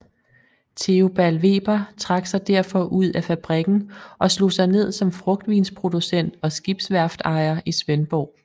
Theobald Weber trak sig derfor ud af fabrikken og slog sig ned som frugtvinsproducent og skibsværftejer i Svendborg